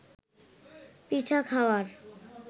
পিঠা খাওয়ার